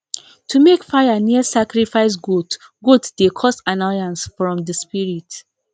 to make fire near sacrifice goat goat dey cause annoyance from the spirit